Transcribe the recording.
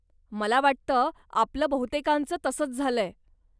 मला वाटतं, आपलं बहुतेकांचं तसंच झालंय.